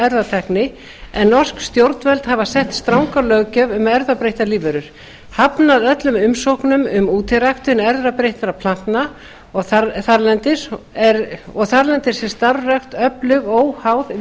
erfðatækni en norsk stjórnvöld hafa sett stranga löggjöf um erfðabreyttar lífverur hafnað öllum umsóknum um útiræktun erfðabreytta plantna og þarlendis er starfrækt öflug óháð